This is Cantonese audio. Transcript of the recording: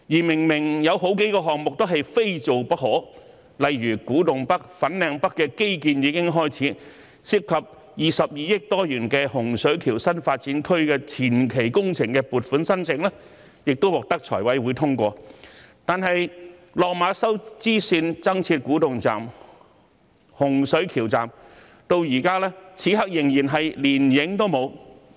明明有數個項目是非做不可，例如古洞北、粉嶺北的基建已經開始，涉及逾22億元的洪水橋新發展區的前期工程撥款申請亦獲得財務委員會通過，但落馬洲支線增設古洞站、洪水橋站此刻連蹤影都沒有。